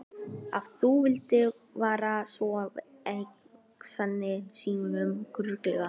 Ef þú vildir vera svo vænn sagði Símon þurrlega.